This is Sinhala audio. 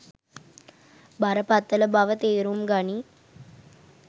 බරපතල බව තේරුම් ගනියි.